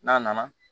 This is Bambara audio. N'a nana